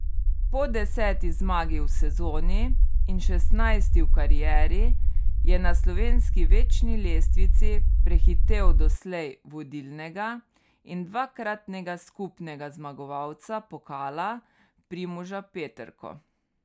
Po deseti zmagi v sezoni in šestnajsti v karieri je na slovenski večni lestvici prehitel doslej vodilnega in dvakratnega skupnega zmagovalca pokala Primoža Peterko.